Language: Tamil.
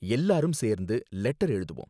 எல்லாரும் சேர்ந்து லெட்டர் எழுதுவோம்